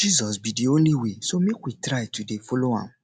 jesus be the only way so make we try to dey follow am